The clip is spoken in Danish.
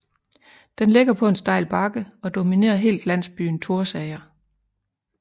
Den ligger på en stejl bakke og dominerer helt landsbyen Thorsager